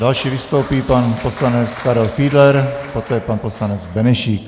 Další vystoupí pan poslanec Karel Fiedler, poté pan poslanec Benešík.